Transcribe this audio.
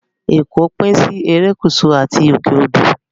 Ẹ̀kọ́ pín sí Erékùṣù àti òkè odò